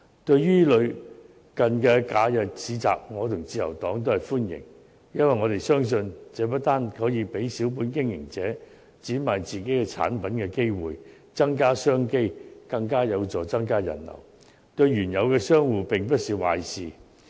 對於類似的假日市集，我和自由黨均表示歡迎，因為我們相信，這不單可以給予小本經營者展賣自己產品的機會，增加商機，更有助增加人流，對原有的商戶並不是壞事。